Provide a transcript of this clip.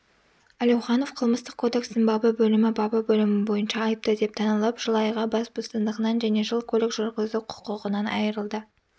әлеуіанов қылмыстық кодекстің бабы бөлімі бабы бөлімі бойынша айыпты деп танылып жыл айға бас бостандығынан және жыл көлік жүргізу құқығынан айырылды